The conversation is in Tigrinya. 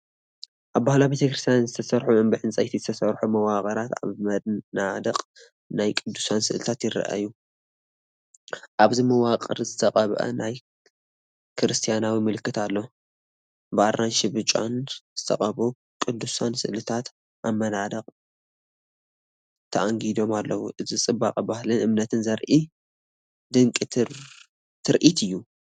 ኣብ ባህላዊ ቤተክርስትያን ዝተሰርሑ ብዕንጨይቲ ዝተሰርሑ መዋቕራትን ኣብ መናድቕ ናይ ቅዱሳን ስእልታትን ይረኣዩ። ኣብቲ መዋቕር ዝተቐብአ ናይ ክርስትያናዊ ምልክት ኣሎ። ብኣራንሺን ብጫን ዝተቐብኡ ቅዱሳን ስእልታት ኣብ መናድቕ ተኣንጊዶም ኣለዉ። እዚ ጽባቐ ባህልን እምነትን ዘርኢ ድንቂ ትርኢት እዩ።